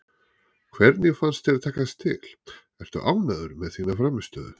Hvernig fannst þér takast til, ertu ánægður með þína frammistöðu?